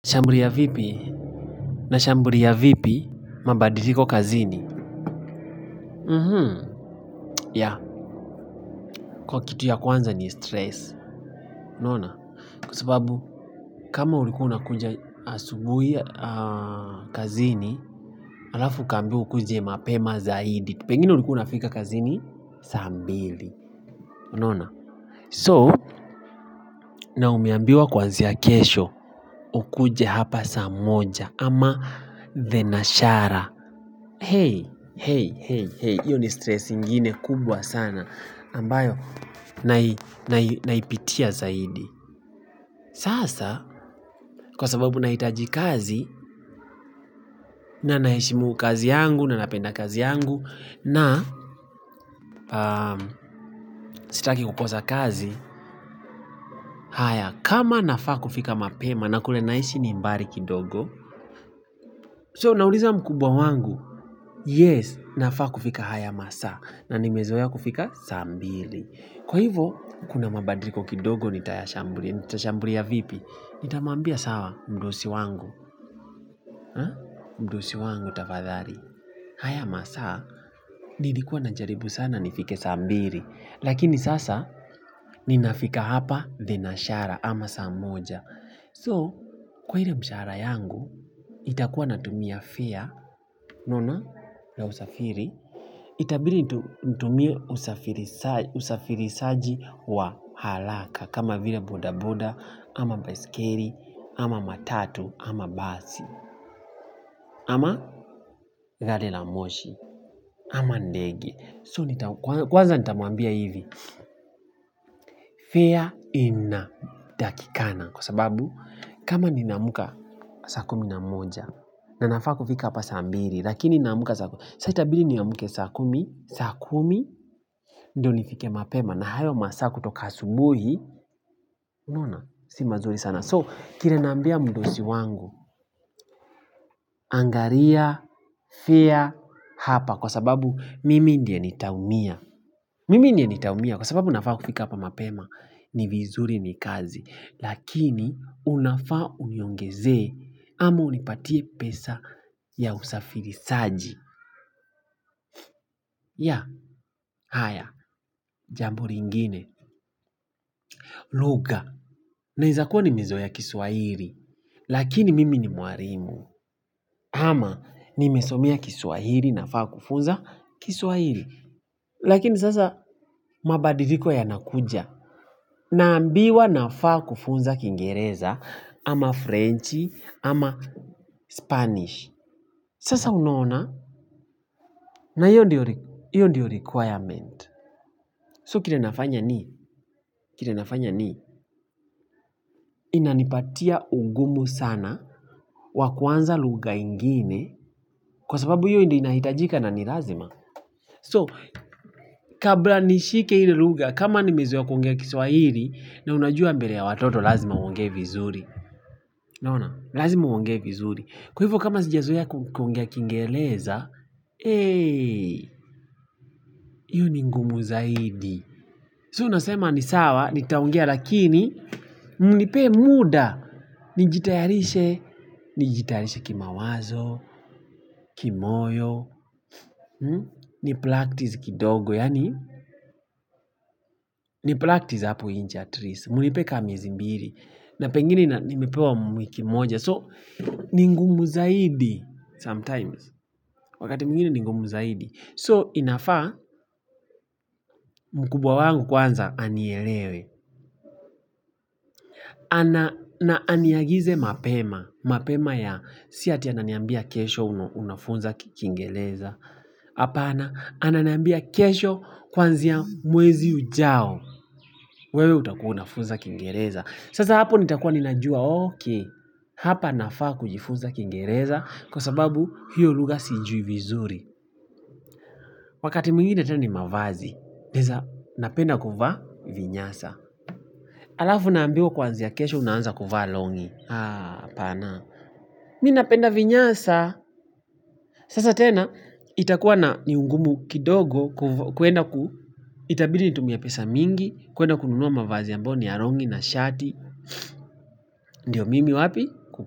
Nitaambulia vipi? Nashambulia vipi mabadiliko kazini? Kwa kitu ya kwanza ni stress, unaona? Kwasababu, kama ulikua unakuja asubuhi kazini, alafu ukaambiwa ukuje mapema zaidi. Pengine ulikua unafika kazini saa mbili, una ona? So, na umeambiwa kwanzia kesho, ukuje hapa saa moja ama thenashara. Hei, hei, hei, hei, hio ni stress ingine kubwa sana ambayo naipitia zaidi sasa, kwa sababu nahitaji kazi na naheshimu kazi yangu, na napenda kazi yangu na sitaki kukosa kazi haya, kama nafaa kufika mapema na kule naishi ni mbali kidogo So, nauliza mkubwa wangu Yes, nafaa kufika haya masaa na nimezoea kufika saa mbili Kwa hivo, kuna mabadiliko kidogo nitashambulia vipi, nitamwambia sawa mdosi wangu, mdosi wangu tafadhali. Haya masaa, nilikua najaribu sana nifike saa mbili, lakini sasa ninafika hapa thenashara ama saa moja. So, kwa ile mshahara yangu, itakuwa natumia fare unaona la usafiri, itabidi nitumie usafirishaji wa haraka, kama vile boda boda, ama baiskeli, ama matatu, ama basi, ama gari la moshi, ama ndege. So kwanza nitamwambia hivi Fare inatakikana Kwa sababu kama nina amka saa kumi na moja na nafaa kufika hapa saa mbili lakini nina amkaa saa kumi Sasa itabidi niamke saa kumi ndio nifike mapema na hayo masaa kutoka asubuhi unaona si mazuri sana So kile naambia mdosi wangu Angalia Fare hapa Kwa sababu mimi ndiye nitaumia Mimi ndiye nitaumia Kwa sababu nafaa kufika hapa mapema ni vizuri ni kazi, lakini unafaa uniongezee, ama unipatie pesa ya usafirishaji ya, haya, jambo lingine. Lugha, naeza kua nimezoea kiswahili, lakini mimi ni mwalimu. Ama, nimesomea kiswahili nafaa kufunza kiswahili. Lakini sasa, mabadiliko yanakuja. Naambiwa nafaa kufunza kingereza ama frenchi ama spanish sasa unaona na hiyo ndiyo requirement So kile nafanya ni, kile nafanya ni Inanipatia ugumu sana wakuanza lugha ingine Kwa sababu hiyo ndiyo inahitajika na nilazima So kabla nishike ile lugha kama nimezoea kuongea kiswahili na unajua mbele ya watoto lazima uongee vizuri unaona, lazima uongee vizuri. Kwa hivyo kama sijazoea kuongea kingeleza, eee, hiyo ni ngumu zaidi. So, nasema ni sawa, nitaongea lakini, mnipee muda. Nijitayarishe, nijitayarishe kimawazo, kimoyo, ni practice kidogo, yaani, ni practice hapo nje at least mnipee kama miezi mbili na pengine nimepewa wiki moja. So, ni ngumu zaidi. Sometimes. Wakati mwingine ni ngomu zaidi. So inafaa mkubwa wangu kwanza anielewe. Na aniagize mapema. Mapema ya siati ananiambia kesho unafunza kingereza. Hapana ananiambia kesho kwanzia mwezi ujao. Wewe utakua unafunza kingereza. Sasa hapo nitakua ninajua okay. Hapa nafaa kujifunza kingereza kwa sababu hiyo lugha siijui vizuri. Wakati mwingine tena ni mavazi naeza, napenda kuvaa vinyasa alafu naambiwa kwanzia kesho unaanza kuvaa longi Haa, hapana ninapenda vinyasa Sasa tena, itakuwa na ni ungumu kidogo kuenda ku, itabidi nitumie pesa mingi kuenda kununua mavazi ambayo ni ya longi na shati Ndiyo mimi wapi?